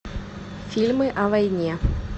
фильмы о войне